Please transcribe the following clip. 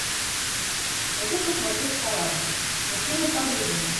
хочу посмотреть корабль мужчина по вызову